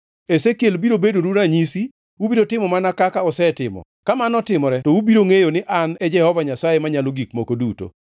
Ezekiel biro bedonu ranyisi; ubiro timo mana kaka osetimo. Ka mano otimore to ubiro ngʼeyo ni An e Jehova Nyasaye Manyalo Gik Moko Duto.’